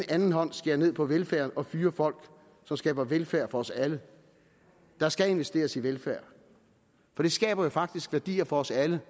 anden hånd skærer ned på velfærden og fyrer folk som skaber velfærd for os alle der skal investeres i velfærd for det skaber jo faktisk værdier for os alle